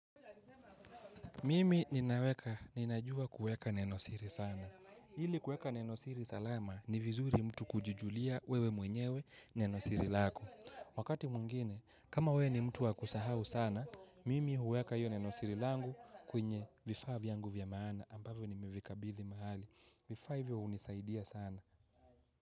Mimi ninaweka, ninajua kuweka nenosiri sana. Hili kuweka nenosiri salama ni vizuri mtu kujijulia wewe mwenyewe nenosiri lako. Wakati mwingine, kama wewe ni mtu wa kusahau sana, mimi huweka hiyo nenosiri langu kwenye vifaa vyangu vya maana ambavyo nimevikabidhi mahali. Vifaa hivyo hunisaidia sana.